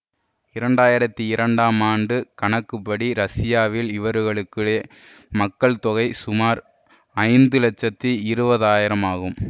இரண்டு ஆயிரத்தி இரண்டாம் ஆண்டு கணக்குப்படி ரஷ்யாவில் இவர்களுடைய மக்கள்தொகை சுமார் ஐந்து லட்சத்தி இருபது ஆயிரம் ஆகும்